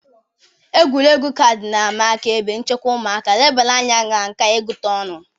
Egwuregwu kaadị na-ama aka ebe nchekwa ụmụaka, nlebara anya na nka ịgụta ọnụ